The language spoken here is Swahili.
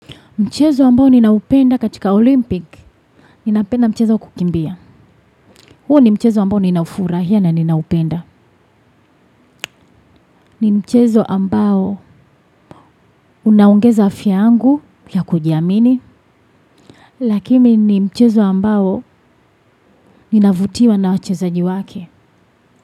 Mchezo ambao ninaupenda katika Olympic ninapenda mchezo wa kukimbia. Huo ni mchezo ambao ninaufurahia na ninaupenda. Ni mchezo ambao unaongeza afya yangu ya kujiamini. Lakini ni mchezo ambao ninavutiwa na wachezaji wenzake.